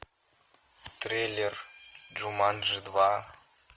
трейлер джуманджи два